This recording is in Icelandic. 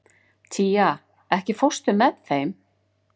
Tía, ekki fórstu með þeim?